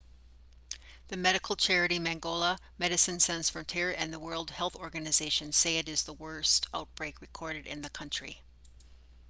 the medical charity mangola medecines sans frontieres and the world health organisation say it is the worst outbreak recorded in the country